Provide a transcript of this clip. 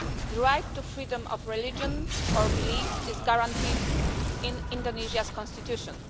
The right to freedom of religion or belief is guaranteed in Indonesia's constitution.